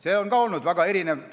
See on olnud väga erinev.